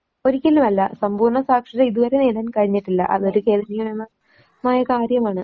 ഒരിക്കലുമല്ല സമ്പൂർണ്ണ സാക്ഷരത ഇതുവരെ നേടാൻ കഴിഞ്ഞിട്ടില്ല. അതൊരു മായ കാര്യമാണ്.